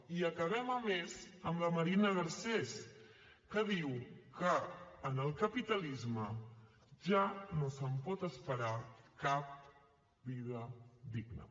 i acabem a més amb la marina garcés que diu que en el capitalisme ja no es pot esperar cap vida digna